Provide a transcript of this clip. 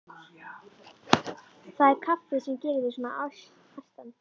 Það er kaffið sem gerir þig svona æstan.